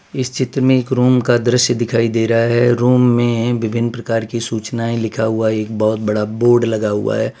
इस चित्र मे एक रूम का दृश्य दिखाई दे रहा है रूम मे विभिन्न प्रकार के सूचनाएं लिखा हुआ एक बहोत बड़ा बोर्ड लगा हुआ है।